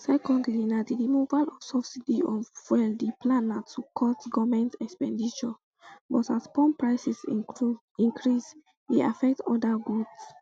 secondly na di removal of subsidy on fuel di plan na to cut goment expenditure but as pump prices increase e affect oda goods